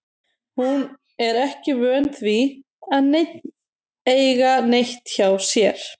Hún er ekki vön því að neinn eiga neitt hjá sér.